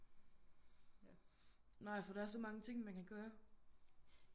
Nej for der er så mange ting man kan gøre